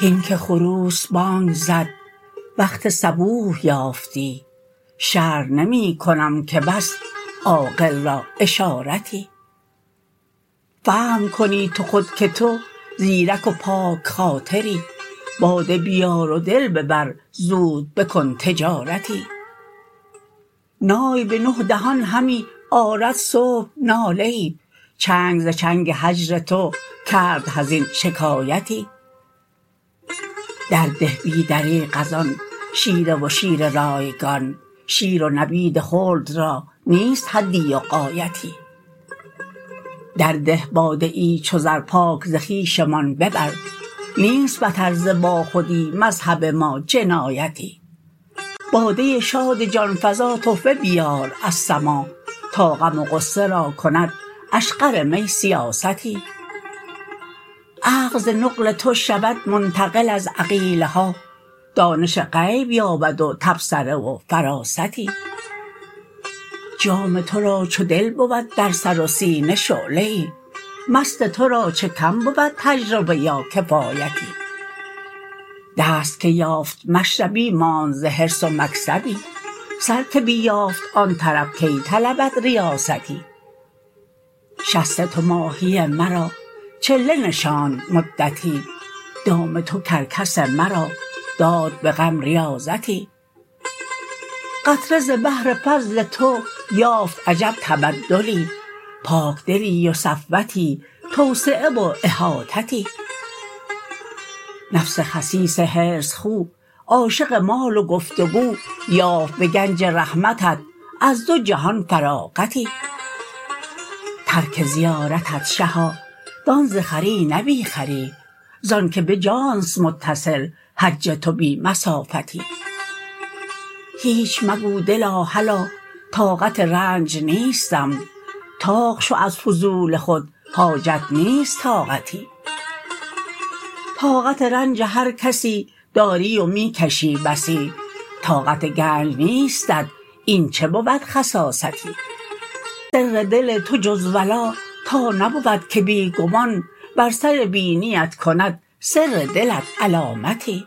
هین که خروس بانگ زد وقت صبوح یافتی شرح نمی کنم که بس عاقل را اشارتی فهم کنی تو خود که تو زیرک و پاک خاطری باده بیار و دل ببر زود بکن تجارتی نای بنه دهان همی آرد صبح ناله ای چنگ ز چنگ هجر تو کرد حزین شکایتی درده بی دریغ از آن شیره و شیر رایگان شیر و نبید خلد را نیست حدی و غایتی درده باده ای چو زر پاک ز خویشمان ببر نیست بتر ز باخودی مذهب ما جنایتی باده شاد جان فزا تحفه بیار از سما تا غم و غصه را کند اشقر می سیاستی عقل ز نقل تو شود منتقل از عقیله ها دانش غیب یابد و تبصره و فراستی جام تو را چو دل بود در سر و سینه شعله ای مست تو را چه کم بود تجربه یا کفایتی دست که یافت مشربی ماند ز حرص و مکسبی سر که بیافت آن طرب کی طلبد ریاستی شست تو ماهی مرا چله نشاند مدتی دام تو کرکس مرا داد به غم ریاضتی قطره ز بحر فضل تو یافت عجب تبدلی پاکدلی و صفوتی توسعه و احاطتی نفس خسیس حرص خو عاشق مال و گفت و گو یافت به گنج رحمتت از دو جهان فراغتی ترک زیارتت شها دان ز خری نه بی خری ز آنک به جان است متصل حج تو بی مسافتی هیچ مگو دلا هلا طاقت رنج نیستم طاق شو از فضول خود حاجت نیست طاقتی طاقت رنج هر کسی داری و می کشی بسی طاقت گنج نیستت این چه بود خساستی سر دل تو جز ولا تا نبود که بی گمان بر سر بینیت کند سر دلت علامتی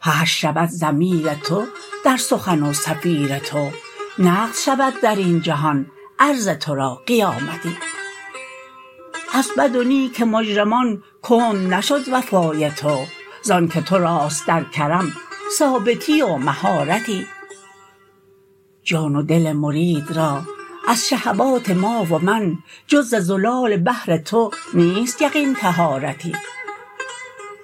حشر شود ضمیر تو در سخن و صفیر تو نقد شود در این جهان عرض تو را قیامتی از بد و نیک مجرمان کند نشد وفای تو ز آنک تو راست در کرم ثابتی و مهارتی جان و دل مرید را از شهوات ما و من جز ز زلال بحر تو نیست یقین طهارتی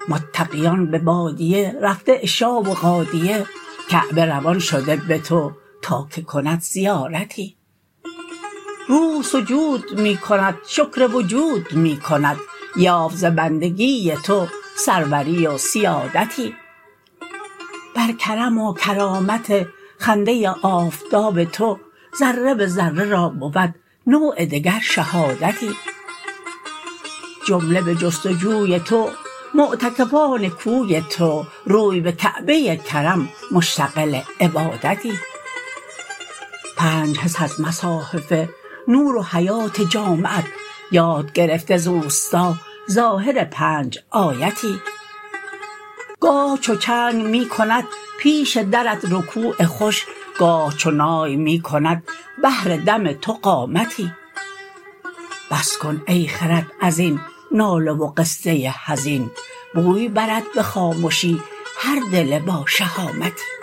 متقیان به بادیه رفته عشا و غادیه کعبه روان شده به تو تا که کند زیارتی روح سجود می کند شکر وجود می کند یافت ز بندگی تو سروری و سیادتی بر کرم و کرامت خنده آفتاب تو ذره به ذره را بود نوع دگر شهادتی جمله به جست و جوی تو معتکفان کوی تو روی به کعبه کرم مشتغل عبادتی پنج حس از مصاحف نور و حیات جامعت یاد گرفته ز اوستا ظاهر پنج آیتی گاه چو چنگ می کند پیش درت رکوع خوش گاه چو نای می کند بهر دم تو قامتی بس کن ای خرد از این ناله و قصه حزین بوی برد به خامشی هر دل باشهامتی